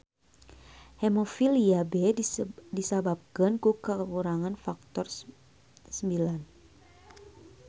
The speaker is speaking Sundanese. Hemofilia B disababkeun ku kakurangan faktor IX.